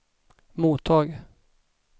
mottag